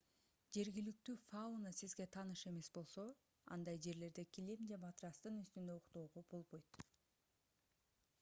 жергиликтүү фауна сизге тааныш эмес болсо андай жерлерде килем же матрастын үстүндө уктоого болбойт